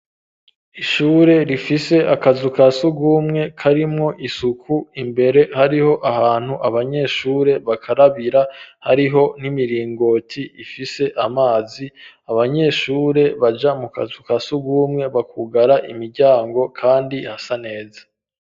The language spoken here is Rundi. Ishure rifise akazu ka sugumwe karimwo isuku imbere hariho ahantu abanyeshure bakarabira hariho n'imiringoti ifise amazi abanyeshure baja mu kazu ka sugumwe bakugara imiryango kandi hasa neza.